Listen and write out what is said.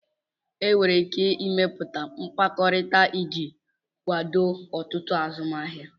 Enwere ike ịmepụta mkpakọrịta iji kwado ọtụtụ azụmahịa